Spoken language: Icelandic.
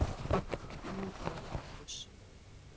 Nú eða Bakkus